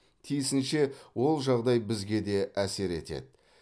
тиісінше ол жағдай бізге де әсер етеді